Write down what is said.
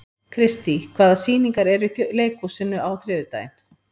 Kristý, hvaða sýningar eru í leikhúsinu á þriðjudaginn?